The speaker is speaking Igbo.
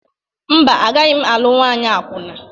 Mba, agaghị m alụ nwanyị akwụna.